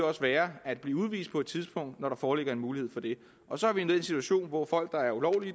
også være at blive udvist på et tidspunkt når der foreligger en mulighed for det og så er vi i den situation hvor folk der ulovligt